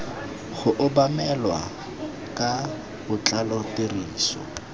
go obamelwa ka botlalo tiriso